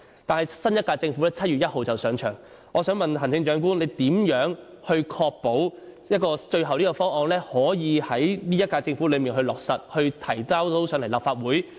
但是，新一屆政府將於7月1日上任，我想問行政長官，你如何確保最後方案可以在本屆政府任期內落實，並提交立法會？